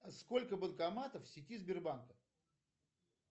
сколько банкоматов в сети сбербанка